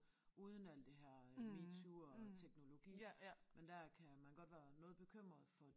Uden alt det her øh MeToo og teknologi men der kan man godt være noget bekymret for